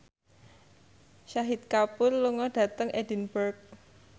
Shahid Kapoor lunga dhateng Edinburgh